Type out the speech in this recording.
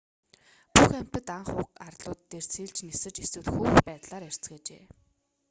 бүх амьтад анх уг арлууд дээр сэлж нисэж эсвэл хөвөх байдлаар ирцгээжээ